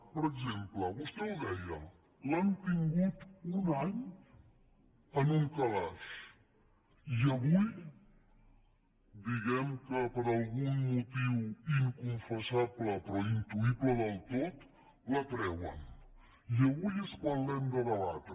per exemple vostè ho deia l’han tingut un any en un calaix i avui diguem·ne que per algun motiu inconfessable però intuïble del tot la treuen i avui és quan l’hem de debatre